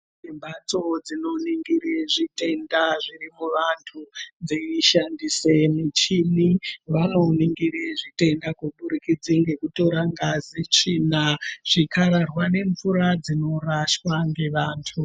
Imbatso dzinoningira zvitenda zvavantu dzeishandusa michini vanongira zvitenda ngekutira ngazi tsvina zvikararwa nemvura dzinorahswa nevantu.